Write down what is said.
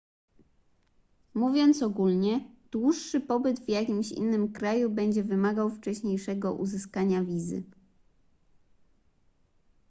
mówiąc ogólnie dłuższy pobyt w jakimś innym kraju będzie wymagał wcześniejszego uzyskania wizy